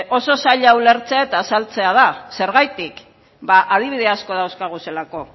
oso zaila ulertzea eta azaltzea da zergatik ba adibide asko dauzkagulako